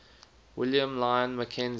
william lyon mackenzie